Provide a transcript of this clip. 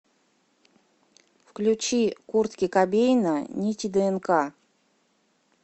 включи куртки кобейна нити днк